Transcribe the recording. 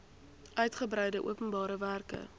uitgebreide openbare werke